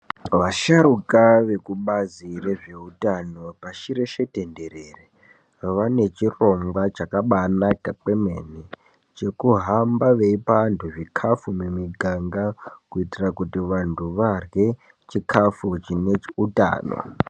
Vasharukwa vekubazi rezveutano pashi reshe tendrere vane chirongwa chakabaanaka kwemene chekuhamba veipa vantu zvikafu mumiganga kuitira kuti vanhu varye chikafu chine utano.